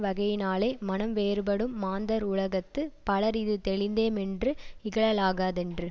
வகையினாலே மனம் வேறுபடும் மாந்தர் உலகத்து பலர் இது தெளிந்தே மென்று இகழலாகாதென்று